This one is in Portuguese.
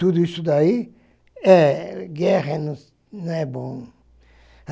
Tudo isso daí, é guerra não não é bom.